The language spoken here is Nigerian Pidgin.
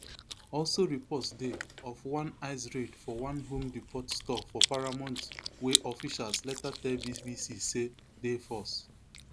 also reports dey of one ice raid for one home depot store for paramount wey officials later tell bbc say dey false